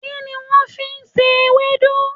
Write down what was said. Kíni wón fi n se ewédú?